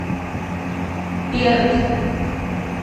перт